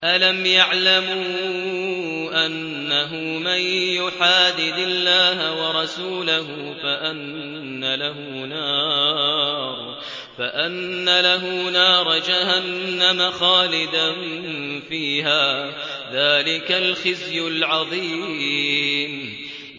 أَلَمْ يَعْلَمُوا أَنَّهُ مَن يُحَادِدِ اللَّهَ وَرَسُولَهُ فَأَنَّ لَهُ نَارَ جَهَنَّمَ خَالِدًا فِيهَا ۚ ذَٰلِكَ الْخِزْيُ الْعَظِيمُ